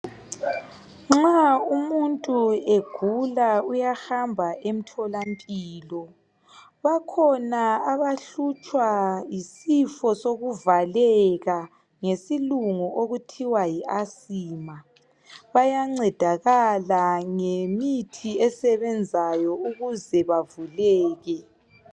Nxa umuntu egula uyahamba emtholampilo bakhona abahlutshwa yisifo sokuvaleka ngesikhiwa abathi Yi asima bayancedakala ukuze bavuleke